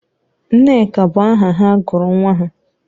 Nneka bụ aha ha gụrụ nwa ha?